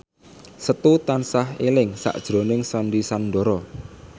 Setu tansah eling sakjroning Sandy Sandoro